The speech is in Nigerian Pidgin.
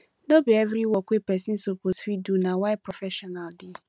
no bi evri work wey pesin soppose fit do na why professional dey